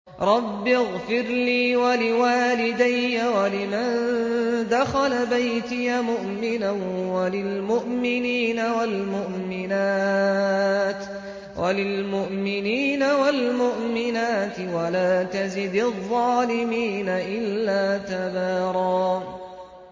رَّبِّ اغْفِرْ لِي وَلِوَالِدَيَّ وَلِمَن دَخَلَ بَيْتِيَ مُؤْمِنًا وَلِلْمُؤْمِنِينَ وَالْمُؤْمِنَاتِ وَلَا تَزِدِ الظَّالِمِينَ إِلَّا تَبَارًا